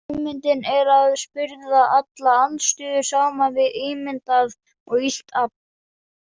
Hugmyndin er að spyrða alla andstöðu saman við ímyndað og illt afl.